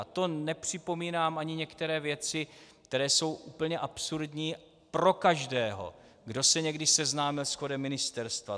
A to nepřipomínám ani některé věci, které jsou úplně absurdní pro každého, kdo se někdy seznámil s chodem ministerstva.